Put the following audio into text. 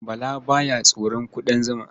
Bala ba ya tsoron ƙudan zuma.